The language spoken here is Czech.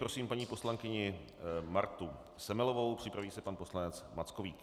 Prosím paní poslankyni Martu Semelovou, připraví se pan poslanec Mackovík.